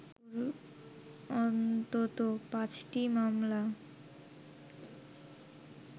অন্তত পাঁচটি মামলা